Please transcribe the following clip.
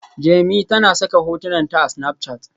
Jemi tana saka hotunan ta a Snapchat